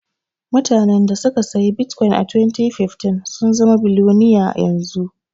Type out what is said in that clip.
Mutanan da suka siyi bitkwin a 2015 sun zama biloniya yanzu.